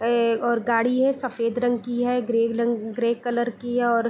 ए और गाड़ी है सफेद रंग की है ग्रे रंग ग्रे कलर की है और---